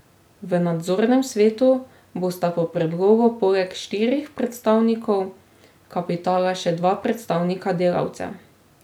V nadzornem svetu bosta po predlogu poleg štirih predstavnikov kapitala še dva predstavnika delavcev.